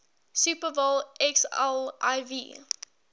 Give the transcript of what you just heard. super bowl xliv